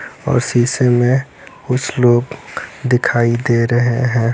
और शीसे में कुछ लोग दिखाई दे रहे हैं ।